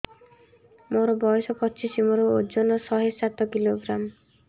ମୋର ବୟସ ପଚିଶି ମୋର ଓଜନ ଶହେ ସାତ କିଲୋଗ୍ରାମ